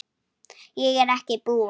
Ég er ekki búinn.